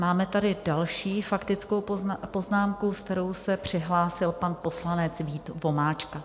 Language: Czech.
Máme tady další faktickou poznámku, s kterou se přihlásil pan poslanec Vít Vomáčka.